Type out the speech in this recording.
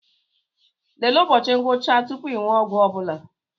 Lelee ụbọchị ngwụcha tupu ị ṅụọ ọgwụ ọbụla